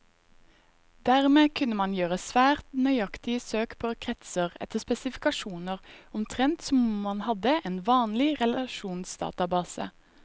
Dermed kunne man gjøre svært nøyaktige søk på kretser etter spesifikasjoner, omtrent som om man hadde en vanlig relasjonsdatabase.